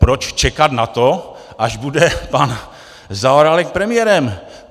Proč čekat na to, až bude pan Zaorálek premiérem?